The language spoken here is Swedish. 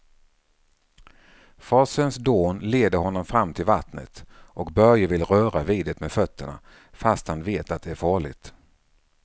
Forsens dån leder honom fram till vattnet och Börje vill röra vid det med fötterna, fast han vet att det är farligt.